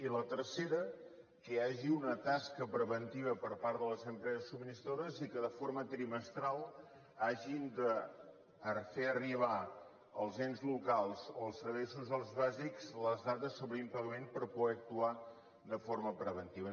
i la tercera que hi hagi una tasca preventiva per part de les empreses subministradores i que de forma trimestral hagin de fer arribar als ens locals o als serveis socials bàsics les dades sobre impagament per poder actuar de forma preventiva